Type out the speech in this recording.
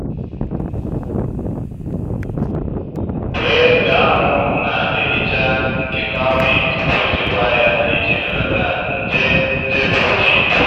kwe ka anwụ na-ehicha nke cowpea tupu echekwa ya iji belata nje nje bruchid.